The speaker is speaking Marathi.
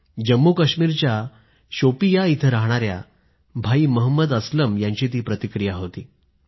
जम्मू काश्मिरच्या शोपियाँ इथं राहणाऱ्या भाई महंमद अस्लम यांची ती प्रतिक्रिया होती